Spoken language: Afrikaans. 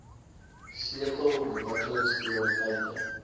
sleutel ontwikkelings prioriteite